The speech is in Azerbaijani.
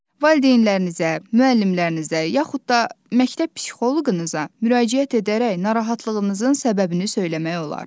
Valideynlərinizə, müəllimlərinizə, yaxud da məktəb psixoloqunuza müraciət edərək narahatlığınızın səbəbini söyləmək olar.